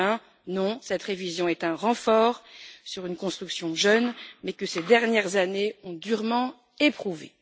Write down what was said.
2020. Non, cette révision est un renfort sur une construction jeune, mais que ces dernières années ont durement éprouvée.